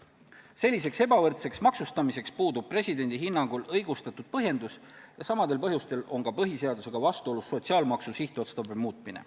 Selliseks ebavõrdseks maksustamiseks puudub presidendi hinnangul õigustatud põhjendus ja samadel põhjustel on põhiseadusega vastuolus ka sotsiaalmaksu sihtotstarbe muutmine.